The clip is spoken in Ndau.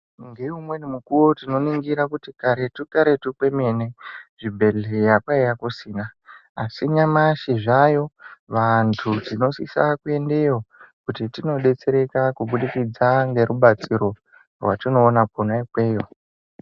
Neimweni mikuwo tinoningira kuti karetu karetu kwemene zvibhedhleya kwaiva kusina asi nyamashi zvaayo ,vantu tinosisa kuendeyo kuti tindodetsereka kubudikidza ngerubatsiro rwatinowana kona ikweyo.